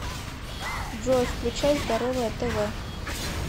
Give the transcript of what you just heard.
джой включай здоровое тв